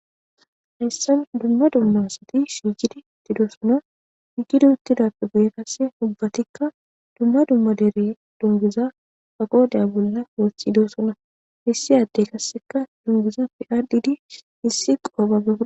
hayssan dumma dummasati shijidi tidosona hijidi uttidappe guye kasse ubbatikka dumma dumma dere dunguza agoodeya bolla moothidosona hissi adde kasseka dunguza pi ardidi hissi qoapabe.